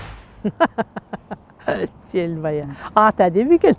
желмая аты әдемі екен